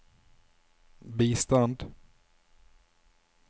bistand